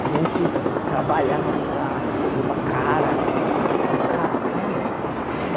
A gente trabalhava para comprar roupa cara, só para ficar, sabe? E e a